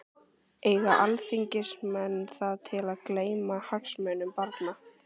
Eiga alþingismenn það til að gleyma hagsmunum barna?